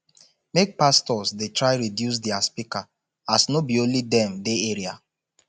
make pastors dey try reduce dia speaker as no be only dem dey area